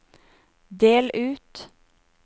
del ut